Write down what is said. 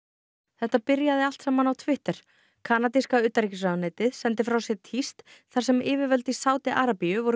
þetta byrjaði allt saman á Twitter kanadíska utanríkisráðuneytið sendi frá sér tíst þar sem yfirvöld í Sádi Arabíu voru